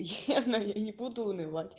наверно я не буду унывать